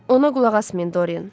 Ona qulaq asmayın Dorian.